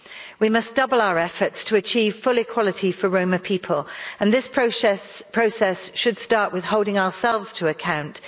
We must double our efforts to achieve full equality for Roma people and this process should start with holding ourselves to account.